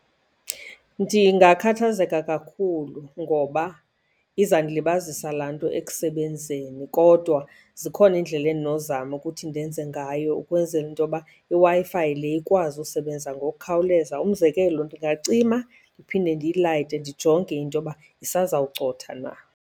Ndingakhathazeka kakhulu ngoba izandilibazisa laa nto ekusebenzeni kodwa zikhona iindlela endinozama ukuthi ndenze ngayo ukwenzela into yoba iWi-Fi le ikwazi usebenza ngokukhawuleza. Umzekelo, ndingacima ndiphinde ndiyilayite ndijonge into yoba isazawucotha na.